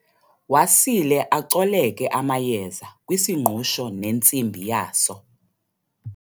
Wasile acoleke amayeza kwisingqusho nentsimbi yaso.